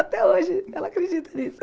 Até hoje ela acredita nisso.